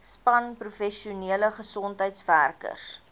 span professionele gesondheidswerkers